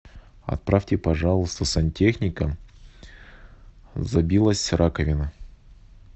отправьте пожалуйста сантехника забилась раковина